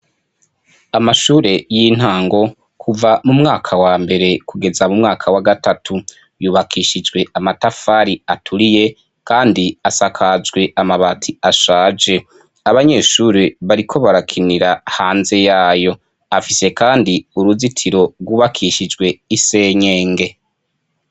Amashure y'intango, kuva mu mwaka wa mbere kugeza mu mwaka wa gatatu. Yubakishijwe amatafari aturiye kandi asakajwe amabati ashaje. Abanyeshure bariko barakinira hanze yayo. Afise kandi uruzitiro rwubakishijwe isenyenge.